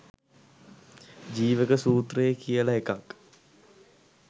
ජීවක සූත්‍රය කියල එකක්